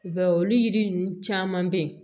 I b'a ye olu yiri ninnu caman bɛ yen